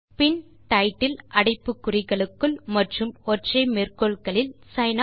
பின் title அடைப்பு குறிகளுக்குள் மற்றும் ஒற்றை மேற்கோள்களில் சின்